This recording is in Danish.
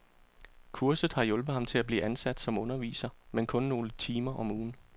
Kurset har hjulpet ham til at blive ansat som underviser, men kun nogle timer om ugen.